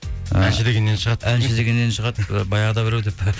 ы әнші дегеннен шығады баяғыда біреу деп пе